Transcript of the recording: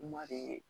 Kuma de ye